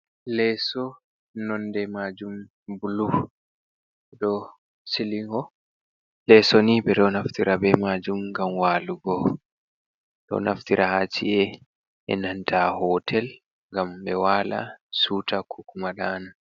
Leso nonde majum bulu ɗo silingo. leso ni ɓeɗo naftira be majum ngam walugo. ɗo naftira haci'e e nanta hotel ngam ɓe wala siwta kukuma ɗana.